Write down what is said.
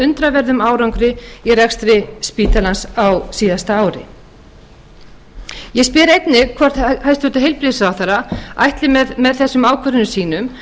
undraverðum árangri í rekstri spítalans á síðasta ári ég spyr einnig hvort hæstvirtur heilbrigðisráðherra ætli með þessum ákvörðunum sínum